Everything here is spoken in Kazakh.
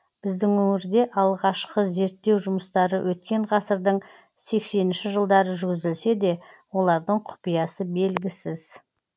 біздің өңірде алғашқы зерттеу жұмыстары өткен ғасырдың сексенінші жылдары жүргізілсе де олардың құпиясы белгісіз